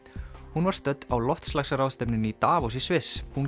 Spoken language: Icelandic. hún var stödd á loftslagsráðstefnu í Davos í Sviss hún